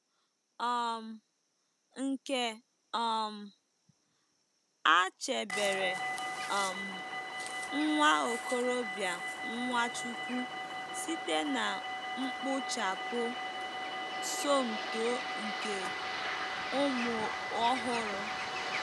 um Nke um a chebere um nwa okorobịa Nwachukwu site na mgbuchapụ Somto nke ụmụ ọhụrụ.